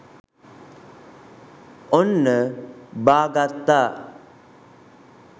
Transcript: ඔන්න බා ගත්තා